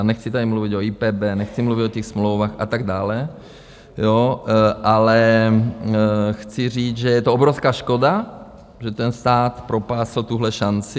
A nechci tady mluvit o IPB, nechci mluvit o těch smlouvách a tak dále, ale chci říct, že je to obrovská škoda, že ten stát propásl tuhle šanci.